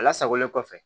A lasagolen kɔfɛ